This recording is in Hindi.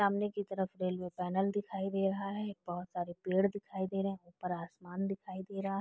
सामने की तरह रेल्वे पैनल दिखाई दे रहा है। बोहोत सारे पेड़ दिखाई दे रहे है। ऊपर आसमान दिखाई दे रहा --